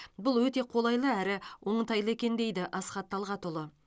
бұл өте қолайлы әрі оңтайлы екен дейді асхат талғатұлы